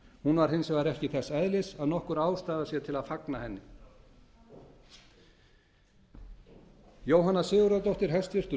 hún var hins vegar ekki þess eðlis að nokkur ástæða sé til að fagna henni jóhanna sigurðardóttir hæstvirtur